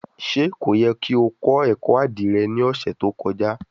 Ṣe ko yẹ ki o kọ ẹkọ adire ni ọsẹ to kọja?